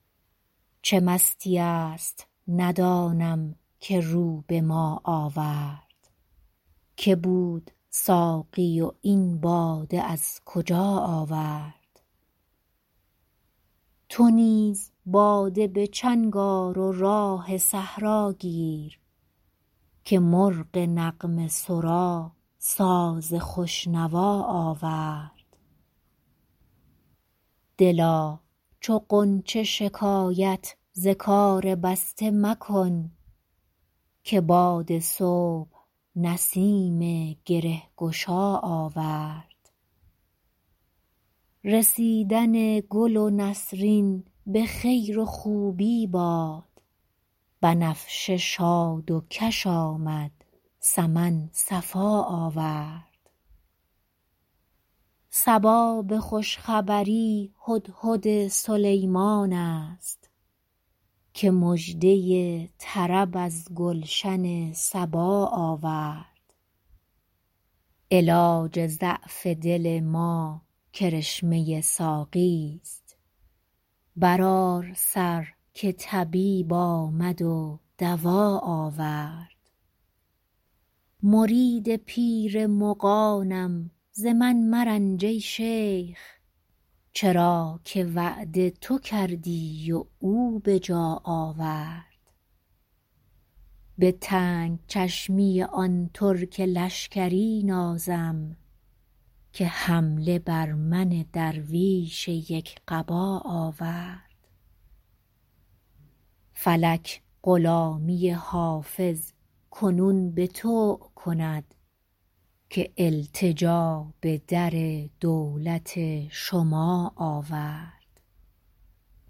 چه مستیی است ندانم که رو به ما آورد که بود ساقی و این باده از کجا آورد چه راه می زند این مطرب مقام شناس که در میان غزل قول آشنا آورد تو نیز باده به چنگ آر و راه صحرا گیر که مرغ نغمه سرا ساز خوش نوا آورد دلا چو غنچه شکایت ز کار بسته مکن که باد صبح نسیم گره گشا آورد رسیدن گل نسرین به خیر و خوبی باد بنفشه شاد و کش آمد سمن صفا آورد صبا به خوش خبری هدهد سلیمان است که مژده طرب از گلشن سبا آورد علاج ضعف دل ما کرشمه ساقیست برآر سر که طبیب آمد و دوا آورد مرید پیر مغانم ز من مرنج ای شیخ چرا که وعده تو کردی و او به جا آورد به تنگ چشمی آن ترک لشکری نازم که حمله بر من درویش یک قبا آورد فلک غلامی حافظ کنون به طوع کند که التجا به در دولت شما آورد